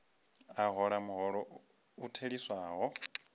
a hola muholo u theliswaho